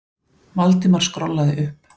Valdimar skrollaði upp.